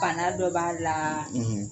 bana dɔ b'a la